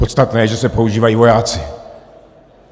Podstatné je, že se používají vojáci.